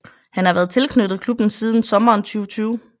Han har været tilknyttet klubben siden sommeren 2020